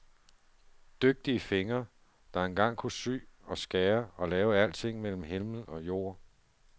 Dygtige fingre, der engang kunne sy og skære og lave alting mellem himmel og jord.